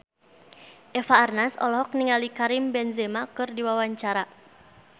Eva Arnaz olohok ningali Karim Benzema keur diwawancara